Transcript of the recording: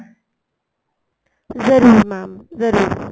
ਜਰੂਰ mam ਜਰੂਰ